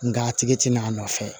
Nka a tigi ti na a nɔfɛ